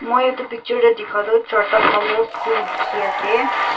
moi edu picture tae dikha toh charta colour phul dikhiase.